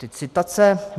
Teď citace.